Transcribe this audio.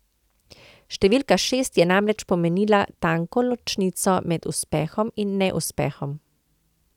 Številka šest je namreč pomenila tanko ločnico med uspehom in neuspehom.